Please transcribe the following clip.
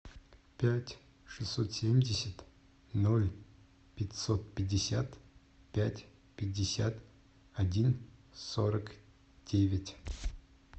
пять шестьсот семьдесят ноль пятьсот пятьдесят пять пятьдесят один сорок девять